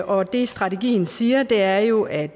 og det strategien siger er jo at